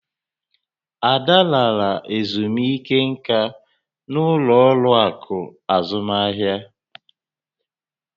Ada lara ezumike nká na-ụlọ ọrụ akụ azụmahịa.